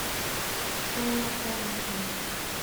ксения фаритовна